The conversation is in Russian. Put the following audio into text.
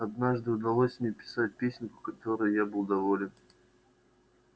однажды удалось мне написать песенку которой был я доволен